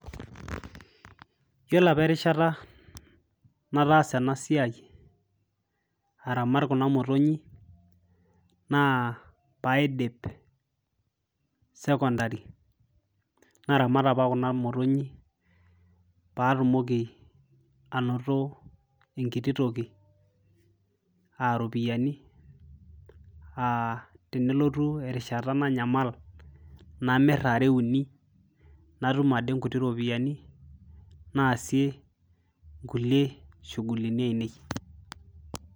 yiolo apa erishata nataasa ena siai aramat kuna motonyi naa paidip sekondari naramat apa kuna motonyi patumoki anoto enkiti toki aropiyiani uh, ttenelotu erishata nanyamal namirr are uni natum ade nkuti ropiyiani naasie nkulie shuguluni ainei.